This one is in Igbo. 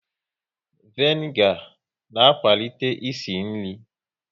Vanigar na akwalite ịsị nri